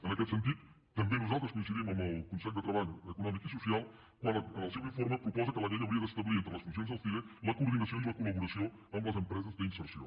en aquest sentit també nosaltres coincidim amb el consell de treball econòmic i social quan en el seu informe proposa que la llei hauria d’establir entre les funcions del cire la coordinació i la col·laboració amb les empreses d’inserció